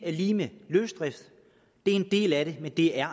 lig med løsdrift det er en del af det men det er